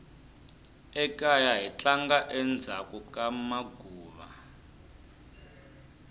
ekaya hi tlanga endzhaku ka maguva